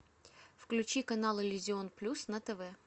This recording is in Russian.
включи канал иллюзион плюс на тв